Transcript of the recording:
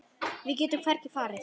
Við getum hvergi farið.